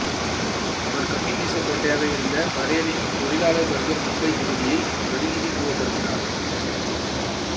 அவர் கம்யூனிச கோட்டையாக இருந்த பரேலின் தொழிலாளர் வர்க்க மும்பைத் தொகுதியை பிரதிநிதித்துவப்படுத்தினார்